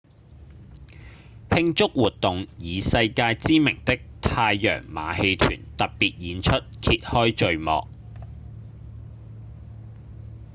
慶祝活動以世界知名的太陽馬戲團特別演出揭開序幕